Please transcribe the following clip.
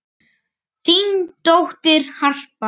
Þín dóttir, Harpa.